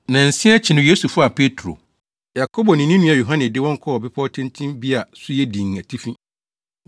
Nnansia akyi no Yesu faa Petro, Yakobo ne ne nua Yohane de wɔn kɔɔ bepɔw tenten bi a so yɛ dinn atifi.